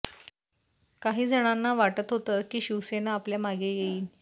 काही जणांना वाटतं होतं की शिवसेना आपल्या मागे येइल